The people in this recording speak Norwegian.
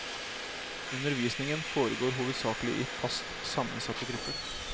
Undervisningen foregår hovedsaklig i fast sammensatte grupper.